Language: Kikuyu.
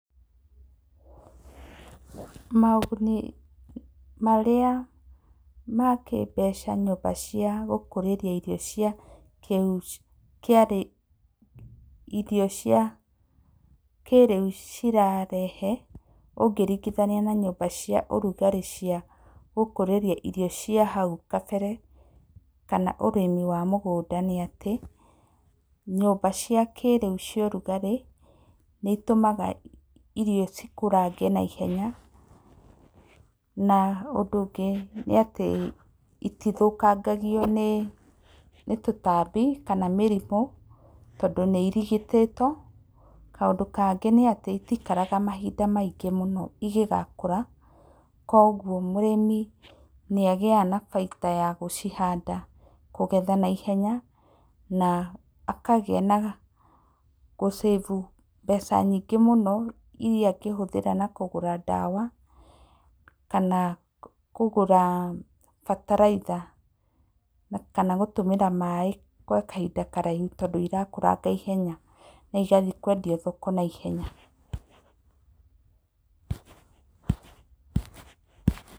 Moguni marĩa ma kĩmbeca nyũmba cia gũkũrĩria irio cia, irio cia kĩrĩu cirarehe ũngĩringithania na cia ũrugarĩ cia gũkũrĩria irio cia hau kabere kana ũrĩmi wa mũgũnda nĩ atĩ, nyũmba cia kĩrĩu cia ũrugarĩ nĩ itũmaga irio cikũrange na ihenya na ũndũ ũngĩ nĩ atĩ itithũkangagio nĩ tũtambi kana mĩrimũ tondũ nĩ irigitĩtwo kaũndũ kangĩ nĩ atĩ itikaraga mahinda maingĩ mũno, ingĩgakũra kwoguo mũrĩmi nĩ agĩaga na baita ya gũcihanda, kũgetha na ihenya na akagĩa na gũsave mbeca nyingĩ mũno iria angĩhũthĩra na kũgũra dawa kana kũgũra bataraitha kana gũtũmĩra maĩ gwa kahinda karaihu tondũ irakũranga na ihenya na igathiĩ kwendio thoko na ihenya.